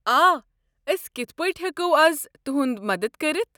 آ، أسۍ کتھہٕ پٲٹھۍ ہٮ۪کو از تہُنٛد مدتھ کٔرتھ؟